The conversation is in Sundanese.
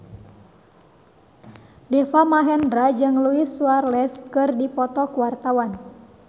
Deva Mahendra jeung Luis Suarez keur dipoto ku wartawan